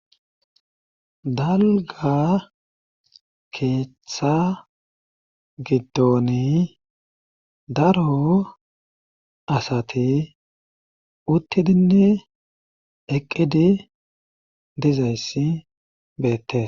Dalga keeththa giddon daro asati uttidinne eqqidi dizayssi beettes.